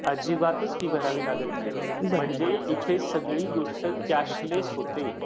अजिबातच फी भरावी लागत नाही. म्हणजे इथं सगळी गोष्ट कॅशलेस होते.